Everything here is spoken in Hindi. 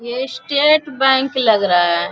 ये स्टेट बैंक लग रहा।